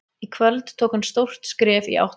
Í kvöld tók hann stórt skref í átt að því.